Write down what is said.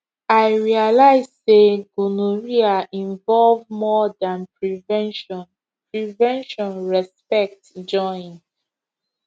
i realize say gonorrhea involve more than prevention prevention respect join